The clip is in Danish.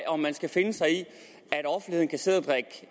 om man skal finde sig i